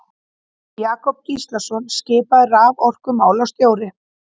Jakob Gíslason skipaður raforkumálastjóri.